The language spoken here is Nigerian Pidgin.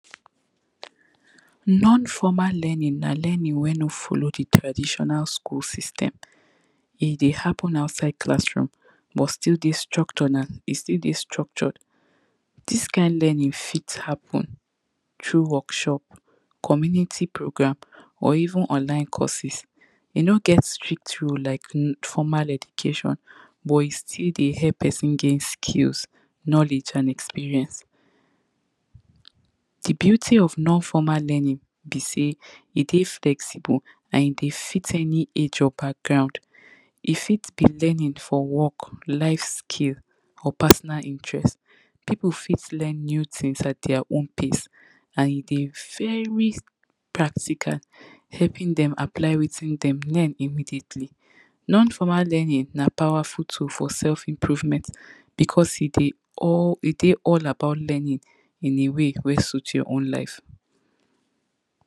Non formal learning na learning wey no follow di traditional skul system, e dey happen outside class room but still dey structured, still dey structured dis kain learning fit happen through workshop, community program or even online courses e no get strict rule like di formal education but e still dey help pesin gain skills, knowledge and experience. Di beauty of non formal learning be sey, e dey flexible and e dey fit any age or background, e fit be learning for work, life skill or personal interest, pipu fit learn new tin at dia own pace and e dey very practical, helping dem apply wetin dem learn immediately. Non formal learning na powerful tool for self improvement becos e dey, e dey all about learning in a way wey suit your own life.